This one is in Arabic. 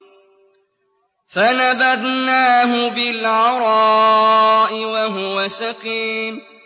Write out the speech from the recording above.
۞ فَنَبَذْنَاهُ بِالْعَرَاءِ وَهُوَ سَقِيمٌ